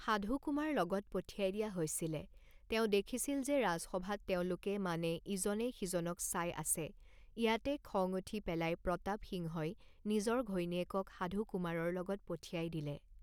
সাধু কুমাৰ লগত পঠিয়াই দিয়া হৈছিলে, তেওঁ দেখিছিল যে ৰাজসভাত তেওঁলোকে মানে ইজনে সিজনক চাই আছে ইয়াতে খং উঠি পেলাই প্ৰতাপ সিংহই নিজৰ ঘৈণীয়েকক সাধু কুমাৰৰ লগত পঠিয়াই দিলে